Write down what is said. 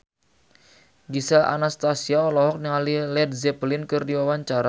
Gisel Anastasia olohok ningali Led Zeppelin keur diwawancara